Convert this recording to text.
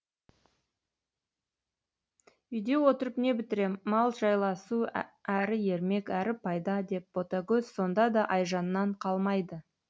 үйде отырып не бітірем мал жайласу әрі ермек әрі пайда деп ботагөз сонда да айжаннан қалмайды